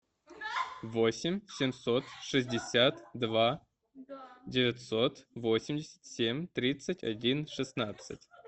восемь семьсот шестьдесят два девятьсот восемьдесят семь тридцать один шестнадцать